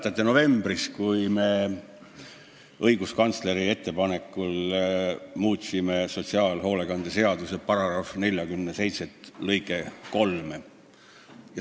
Kas te mäletate, kui me novembris õiguskantsleri ettepanekul muutsime sotsiaalhoolekande seaduse § 47 lõiget 3?